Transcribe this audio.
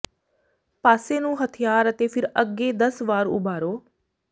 ਪਾਸੇ ਨੂੰ ਹਥਿਆਰ ਅਤੇ ਫਿਰ ਅੱਗੇ ਦਸ ਵਾਰ ਉਭਾਰੋ